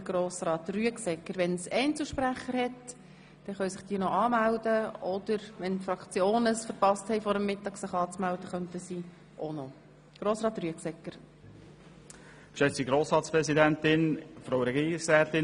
Danach können sich Fraktionssprechende sowie Einzelsprechende anmelden, die dies vor der Mittagspause noch nicht getan haben.